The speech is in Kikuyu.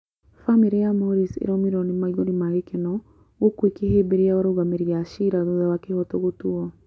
Bamĩrĩ ya Morris ĩraumirwo nĩ maithori ma gĩkeno gũkũ ĩkĩhĩmbĩria arũgamĩrĩri a ciira thutha wa kĩoho gũtuo